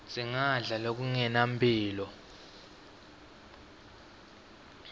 singadla lokungenampilo